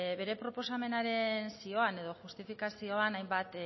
bere proposamenaren zioan edo justifikazioan hainbat